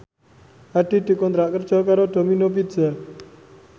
Hadi dikontrak kerja karo Domino Pizza